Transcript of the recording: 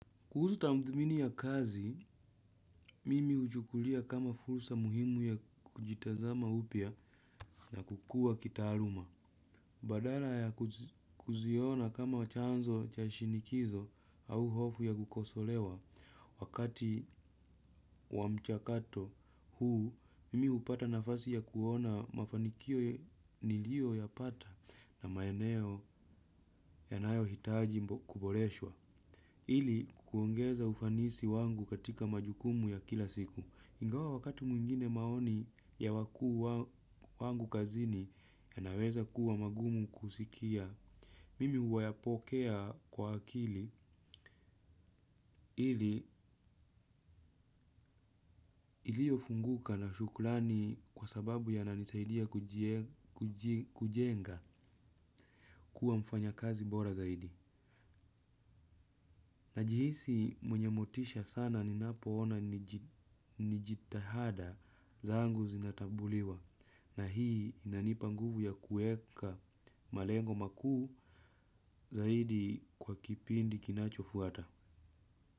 Kuhusu tadhimini ya kazi, mimi huchukulia kama fursa muhimu ya kujitazama upya na kukua kitaaluma. Badala ya kuziona kama chanzo cha shinikizo au hofu ya kukosolewa. Wakati wa mchakato huu, mimi hupata nafasi ya kuona mafanikio niliyo ya pata na maeneo ya nayo hitaji kuboreshwa. Ili kuongeza ufanisi wangu katika majukumu ya kila siku, ingawa wakati mwingine maoni ya wakuu wangu kazini ya naweza kuwa magumu kusikia. Mimi huyapokea kwa akili ili iliyo funguka na shukurani kwa sababu ya nanisaidia kujenga kuwa mfanya kazi bora zaidi. Najihisi mwenye motisha sana ninapo ona nijitahada zangu zinatambuliwa na hii inanipa nguvu ya kuweka malengo makuu zaidi kwa kipindi kinacho fuata.